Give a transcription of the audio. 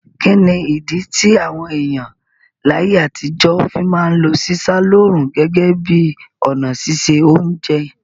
Kíni ìdí ti àwon èyàn láyé àtijọ́ fi ma n lo sísá lóòrùn gẹ́gẹ́ bi ọ̀nà sise ounje